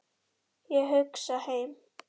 Ég hugsa heim.